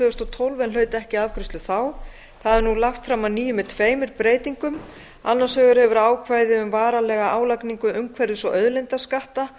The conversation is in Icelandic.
þúsund og tólf en hlaut ekki afgreiðslu þá það er nú lagt fram að nýju með tveimur breytingum annars vegar hefur ákvæði um varanlega álagningu umhverfis og auðlindaskatta